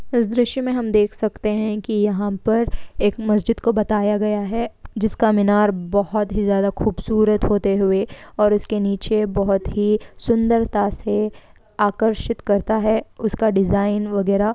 इस दृश्य में हम देख सकते हैं कि यहां पर एक मस्जिद को बताया गया है जिसका मीनार बहुत ही ज्यादा खूबसूरत होते हुए और इसके नीचे बहुत ही सुंदरता से आकर्षित करता है उसका डिज़ाइन वगैरा।